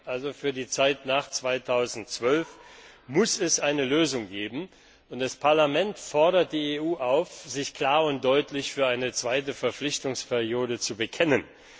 2. Für die Zeit nach 2012 muss es also eine Lösung geben, und das Parlament fordert die EU auf, sich klar und deutlich zu einer zweiten Verpflichtungsperiode zu bekennen.